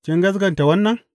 Kin gaskata wannan?